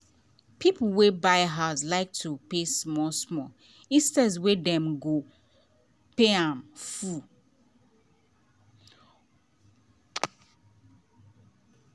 people wey buy house like to pay small-small instead wey dem um go pay um full money um once.